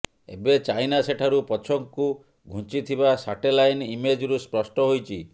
ଏବେ ଚାଇନା ସେଠାରୁ ପଛକୁ ଘୁଞ୍ଚିଥିବା ସ୍ୟାଟେଲାଇନ ଇମେଜ୍ରୁ ସ୍ପଷ୍ଟ ହୋଇଛି